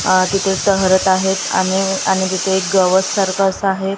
आ तिथे एक तहरथ आहे आणि आणि तिथे एक गवतसारखं असं आहे.